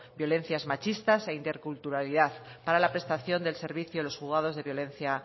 violencias machistas e interculturalidad para la prestación del servicio del juzgado de violencia